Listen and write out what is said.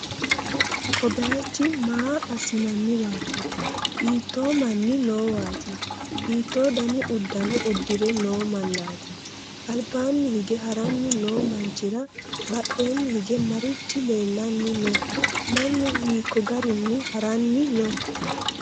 ko bayichi maa assi'nanniwaati? hiitto manni noowaati? hiitto dani uddano uddi're no mannati? albaanni hige ha'ranni no manchi'ra badheenni hige marichi leellanni no? mannu hiikko garinni ha'ranni no?